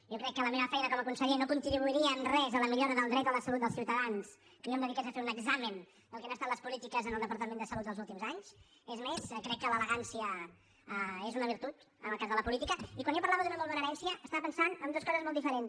jo crec que la meva feina com a conseller no contribuiria en res a la millora del dret a la salut dels ciutadans si jo em dediqués a fer un examen del que han estat les polítiques en el departament de salut dels últims anys és més crec que l’elegància és una virtut en el cas de la política i quan jo parlava d’una molt bona herència estava pensant en dues coses molt diferents